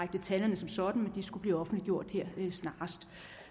detaljerne som sådan men de skulle blive offentliggjort snarest